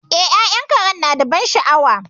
E, ya'yan Karen nada ban sha'awa.